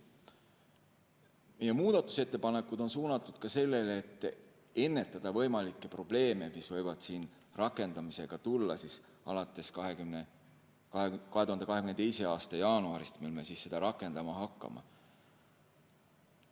Meie muudatusettepanekud on suunatud sellele, et ennetada võimalikke probleeme, mis võivad siin rakendamisega ette tulla alates 2022. aasta jaanuarist, mil me seda rakendama hakkame.